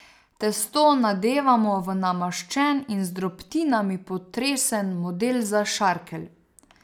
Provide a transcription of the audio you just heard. Testo nadevamo v namaščen in z drobtinami potresen model za šarkelj.